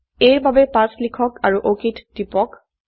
a ৰ বাবে ৫ লিখক আৰু অক টিপক